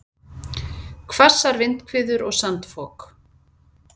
Hvassar vindhviður og sandfok